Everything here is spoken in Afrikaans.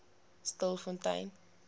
stilfontein